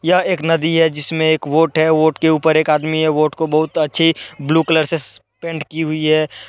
यह एक नदी है जिसमें एक वोट है वोट के ऊपर एक आदमी हैवोट को बहुत अच्छी ब्लू कलर से पेंट की हुई है।